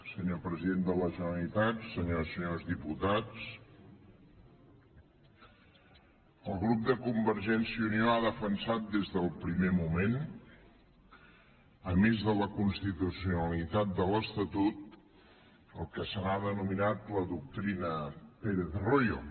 senyor president de la generalitat senyores i senyors diputats el grup de convergència i unió ha defensat des del primer moment a més de la constitucionalitat de l’estatut el que se n’ha denominat la doctrina pérez royo